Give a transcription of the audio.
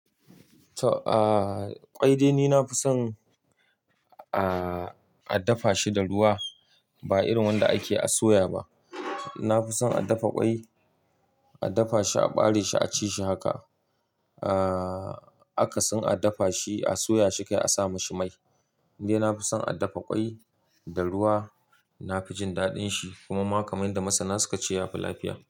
Aaa, kwai dai ni na fi son aa, a dafa shi da ruwa ba irin wanda ake soya ba. Na fi son a dafa kwai, a dafa shi aɓare shi a ci shi haka. Aa, aka sin a dafa shi a soya shi kai a sa mashi mai. Ni dai na fi son a dafa kwai da ruwa. Na fi jin daɗin shi kuma ma kamar yanda masa na suka ce ya fi lafiya.